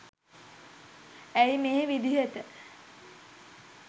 ඇයි මේ විදිහට